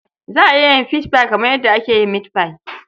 Za a yin fishfai kamar yadda ake mitfai.